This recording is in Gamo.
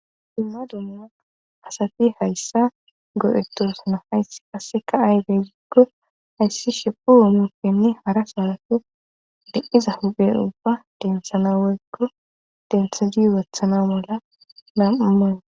imma dumma asafi hayssa go7ettosna hayssi qasseka aybey giggo hayssi shepu womukenne hara samafe de7iza huphe ubba denthana woykko dentha diy wathana mola nam7uman